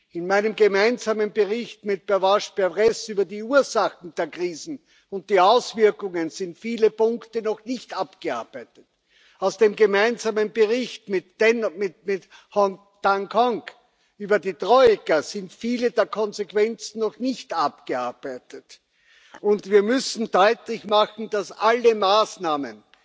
In meinem gemeinsamen Bericht mit Pervenche Berès über die Ursachen der Krisen und die Auswirkungen sind viele Punkte noch nicht abgearbeitet. Aus dem gemeinsamen Bericht mit Liem Hoang Ngoc über die Troika sind viele der Konsequenzen noch nicht abgearbeitet. Und wir müssen deutlich machen, dass alle Maßnahmen,